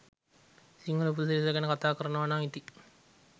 සිංහල උපසිරැසි ගැන කතා කරනවනම් ඉතිං